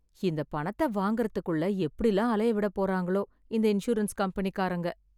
இந்த பணத்தை வாங்கறதுக்குள்ள எப்படிலா அலைய விட போறாங்களோ இந்த இன்சூரன்ஸ் கம்பெனி காரங்க